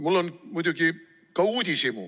Mul on muidugi ka uudishimu.